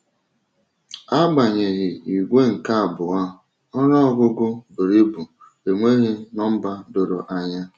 Agbanyeghị, ìgwè nke abụọ, “ọnụ ọgụgụ buru ibu,” enweghị nọmba doro anya.